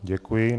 Děkuji.